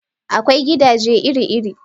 Akwai gidaje iri-iri.